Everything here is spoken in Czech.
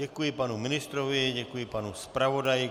Děkuji panu ministrovi, děkuji panu zpravodaji.